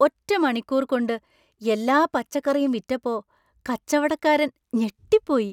ഒറ്റ മണിക്കൂർ കൊണ്ട് എല്ലാ പച്ചക്കറിയും വിറ്റപ്പോ, കച്ചവടക്കാരൻ ഞെട്ടിപ്പോയി.